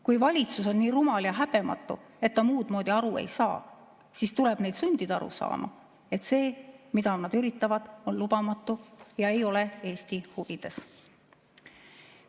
Kui valitsus on nii rumal ja häbematu, et ta muudmoodi aru ei saa, siis tuleb neid sundida aru saama, et see, mida nad üritavad, on lubamatu ja ei ole Eesti huvides.